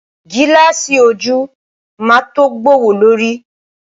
Gílààsì ojú máa tó gbówó lórí.